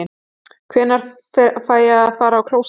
Hvenær fæ ég að fara á klósettið?